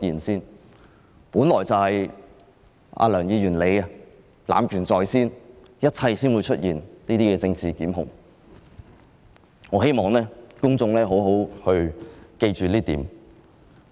事情本來便是梁議員濫權在先，才會出現這些政治檢控，我希望公眾好好記住這一點。